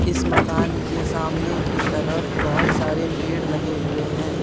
इस मकान के सामने की तरफ बहोत सारे पेड़ लगे हुए हैं।